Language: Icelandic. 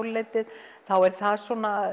tólfleytið þá er það